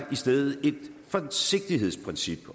i stedet et forsigtighedsprincip